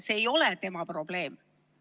See ei ole tema probleem.